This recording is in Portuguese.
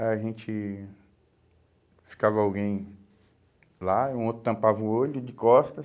A gente ficava alguém lá, um outro tampava o olho de costas,